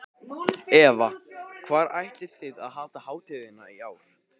Eva, hvar ætlið þið að halda hátíðina í ár?